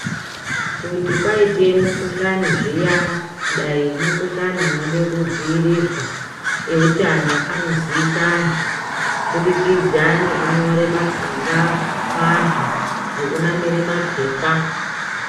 Kuti kwaite mukhuhlani zviya dai mukhuhlani unode kudziirirwa euthano anoziyisa vanthu kubudikidza nekunyore matsamba kuvanthu nekunamire papepa.